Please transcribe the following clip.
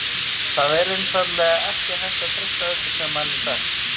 Það er einfaldlega ekki hægt að treysta öllu sem manni er sagt.